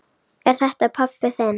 Er þetta pabbi þinn?